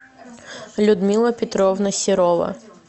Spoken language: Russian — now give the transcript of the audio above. людмила петровна серова